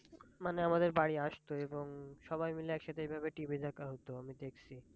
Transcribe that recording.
মানে আমাদের বাড়ি আসতো এবং সবাই মিলে একসাথে এভাবে TV দেখা হত আমি দেখসি।